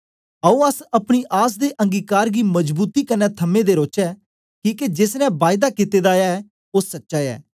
आओ अस अपनी आस दे अंगीकार गी मजबूती कन्ने थमें दे रौचै किके जेस ने बायदा कित्ते दा ऐ ओ सच्चा ऐ